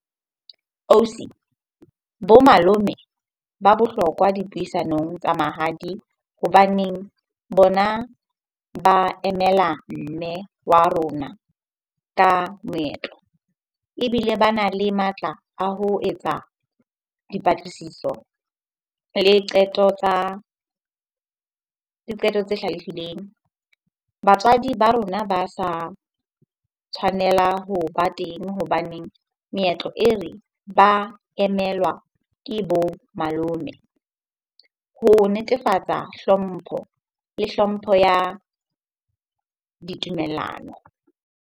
Ausi, bo malome ba bohlokwa dipuisanong tsa mahadi hobaneng bona ba emela mme wa rona ka moetlo. Ebile bana le matla a ho etsa dipatlisiso le qeto tsa, le qeto tse hlalefileng. Batswadi ba rona ba sa tshwanela hoba teng hobaneng meetlo e re, ba emelwa ke bo malome ho netefatsa hlompho le hlompho ya ditumellano.